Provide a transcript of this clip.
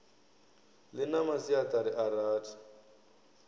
ḽi na masiaṱari a rathi